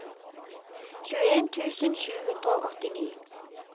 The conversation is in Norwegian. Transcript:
tjueen tusen sju hundre og åttini